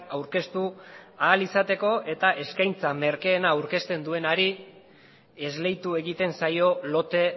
aurkeztu ahal izateko eta eskaintza merkeena aurkezten duenari esleitu egiten zaio lote